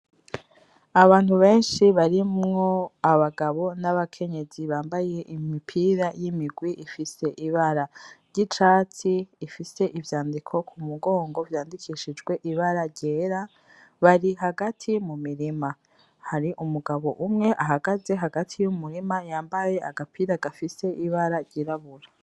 Abantu benshi barimwo abagabo n'abakenyezi bambaye imipira y'imigwi ifise ibara ry'icatsi, ifise ivyandiko ku mugongo vyandikishijwe ibara ryera, bari hagati mu mirima, hari umugabo umwe ahagaze hagati y'umurima yambaye agapira gafise ibara ryirabura.